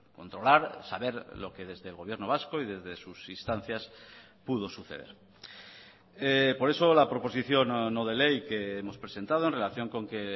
controlar saber lo que desde el gobierno vasco y desde sus instancias pudo suceder por eso la proposición no de ley que hemos presentado en relación con que